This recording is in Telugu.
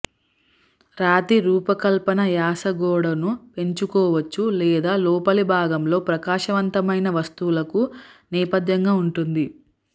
రాతి రూపకల్పన యాస గోడను పెంచుకోవచ్చు లేదా లోపలి భాగంలో ప్రకాశవంతమైన వస్తువులకు నేపథ్యంగా ఉంటుంది